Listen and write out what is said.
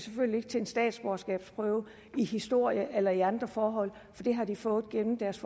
til en statsborgerskabsprøve i historie eller i andre forhold for det har de fået gennem deres